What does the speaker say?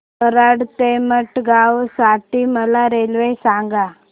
कराड ते मडगाव साठी मला रेल्वे सांगा